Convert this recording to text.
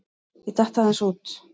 Ég datt aðeins út.